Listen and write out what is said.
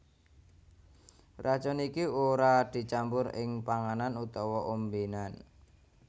Racun iki ora dicampur ing panganan utawa ombénan